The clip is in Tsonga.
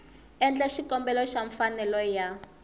endla xikombelo xa mfanelo ya